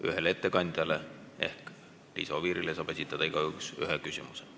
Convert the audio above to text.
Ühele ettekandjale ehk Liisa Oviirile saab igaüks esitada ühe küsimuse.